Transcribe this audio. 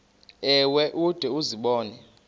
ewe ude uzibone